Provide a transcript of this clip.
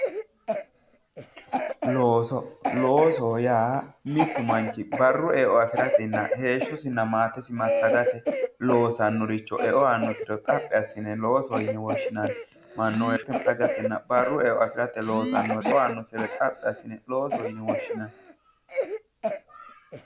Looso, loosoho yaa mitu manchi barru eo afiratenna heeshshosinna maatesi massagate loosanoricho eo aanosiricho xaphi assine loosoho yinne woshshinanni ,mannu barru eo afirate kaa'lo aanosire xaphi assine loosoho yinne woshshinanni